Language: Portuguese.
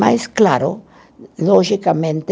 Mas, claro, logicamente,